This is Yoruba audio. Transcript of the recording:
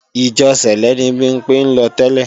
Ìjọ sẹ̀lẹ́ ni Bimpé ń lọ tẹ́lẹ̀